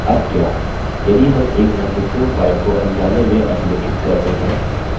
अब क्या यदि हम एक महत्वपूर्ण file को अनजाने में अधिलेखित करते हैं